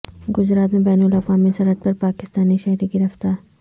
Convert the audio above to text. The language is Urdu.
گجرات میں بین الاقوامی سرحد پر پاکستانی شہری گرفتار